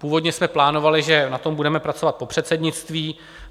Původně jsme plánovali, že na tom budeme pracovat po předsednictví.